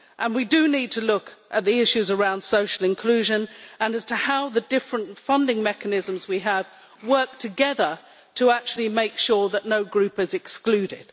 We do need to look at the issues around social inclusion and at how the different funding mechanisms we have work together to actually make sure that no group is excluded.